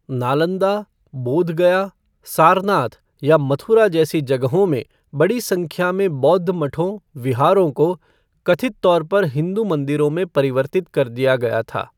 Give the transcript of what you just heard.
नालंदा, बोधगया, सारनाथ या मथुरा जैसी जगहों में बड़ी संख्या में बौद्ध मठों विहारों को कथित तौर पर हिंदू मंदिरों में परिवर्तित कर दिया गया था।